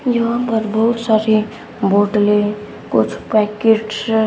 यहां पे बहुत सारी बोतलें कुछ पैकेट्स --